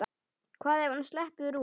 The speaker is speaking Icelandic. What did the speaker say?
Hvað ef hún sleppur út?